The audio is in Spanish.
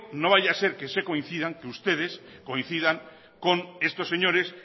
no vaya ser que ustedes coincidan con estos señores